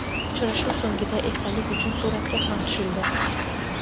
Uchrashuv so‘ngida esdalik uchun suratga ham tushildi.